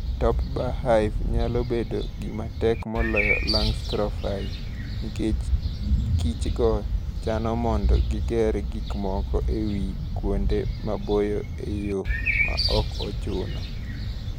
Top-Bar Hive nyalo bedo gima tek moloyo Langstroth Hive, nikech kichgo chano mondo giger gik moko e wi kuonde maboyo e yo ma ok ochuno.